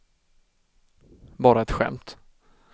bara ett skämt